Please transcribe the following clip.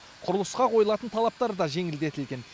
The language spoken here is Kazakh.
құрылысқа қойылатын талаптар да жеңілдетілген